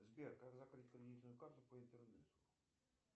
сбер как закрыть кредитную карту по интернету